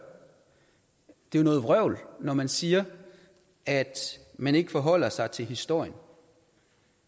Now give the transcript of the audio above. det er jo noget vrøvl når man siger at man ikke forholder sig til historien